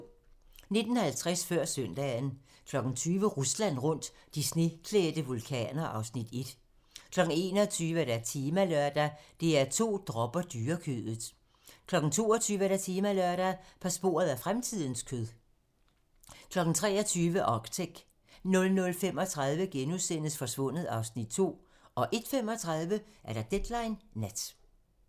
19:50: Før søndagen 20:00: Rusland rundt - de sneklædte vulkaner (Afs. 1) 21:00: Temalørdag: DR2 dropper dyrekødet 22:00: Temalørdag: På sporet af fremtidens kød 23:00: Arctic 00:35: Forsvundet (Afs. 2)* 01:35: Deadline nat